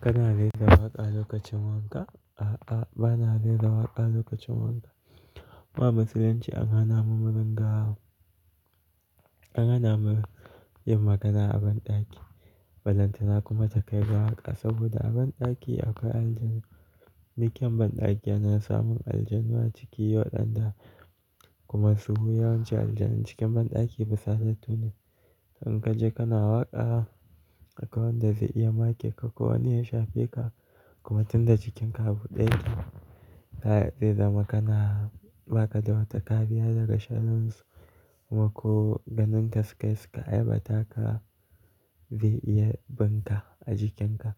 Kana rera waƙa lokacin wanka? A'a, ba na rera waƙa lokacin wanka. Mu a musulunci an hana mu mu ringa. An hana mu yin magana a banɗaki. Balantana kuma ta kai ga waƙa saboda a banɗaki akwai aljanu. Duk kyan banɗaki yana samun aljanu a ciki, waɗan da kuma su yawancin aljanu cikin banɗaki fusatattu ne. In ka je kana waƙa akwai wanda zai iya make ko wani ya shafe ka kuma tunda jikinka a buɗe yake. Ta ya zai zama kana bakada wata kariya daga sharrinsu kuma ko ganinka su kai suka aiwata ka zai iya binka a jikinka.